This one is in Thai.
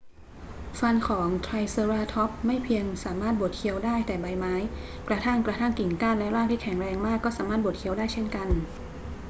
ฟันของไทรเซอราทอปส์ไม่เพียงสามารถบดเคี้ยวได้แต่ใบไม้ กระทั่งกระทั่งกิ่งก้านและรากที่แข็งมากก็สามารถบดเคี้ยวได้เช่นกัน